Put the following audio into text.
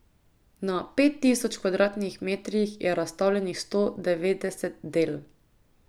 Na pet tisoč kvadratnih metrih je razstavljenih sto devetdeset del.